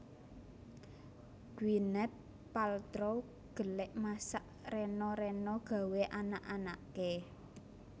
Gwyneth Paltrow gelek masak rena rena gawe anak anake